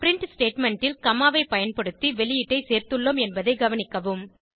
print statement ல் comma ஐ பயன்படுத்தி வெளியீட்டை சேர்த்துள்ளோம் என்பதை கவனிக்கவும்